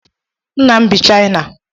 Nna m bi China.